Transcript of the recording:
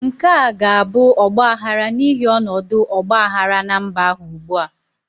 Nke a ga-abụ ọgbaghara n'ihi ọnọdụ ọgba aghara na mba ahụ ugbu a.